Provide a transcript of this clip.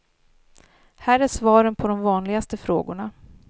Här är svaren på de vanligaste frågorna.